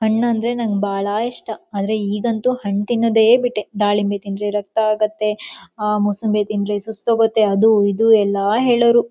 ಹಣ್ಣಂದ್ರೆ ನಂಗೆ ಬಹಳ ಇಷ್ಟ ಆದ್ರೆ ಈಗಂತು ಹಣ್ಣತ್ತಿನೊದೆ ಬಿಟ್ಟೆ ದಾಳಿಂಬೆ ತಿಂದ್ರೆ ರಕ್ತ ಆಗುತ್ತೆ ಆಹ್ ಮೂಸಂಬಿ ತಿಂದ್ರೆ ಸುಸ್ತು ಹೋಗುತ್ತೆ ಅದು ಇದು ಎಲ್ಲಾ ಹೇಳೋರು.